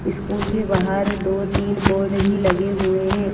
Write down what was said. School के बाहर दो तीन बोर्ड भी लगे हुए हैं।